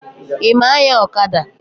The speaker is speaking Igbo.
Ị ma anya ọkada?